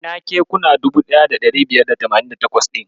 Ina kekuna 1588 ɗin?